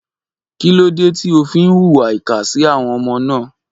Kí ló dé tí ó fi ń hùwà ìkà sí àwọn ọmọ náà?